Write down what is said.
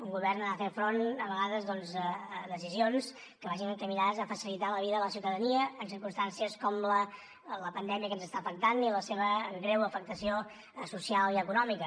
un govern ha de fer front a vegades doncs a decisions que vagin encaminades a facilitar la vida de la ciutadania en circumstàncies com la pandèmia que ens està afectant i la seva greu afectació social i econòmica